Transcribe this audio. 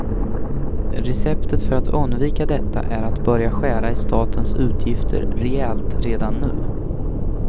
Receptet för att undvika detta är att börja skära i statens utgifter rejält redan nu.